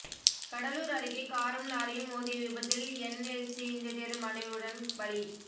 கடலூர் அருகே காரும் லாரியும் மோதிய விபத்தில் என்எல்சி இன்ஜினியர் மனைவியுடன் பலி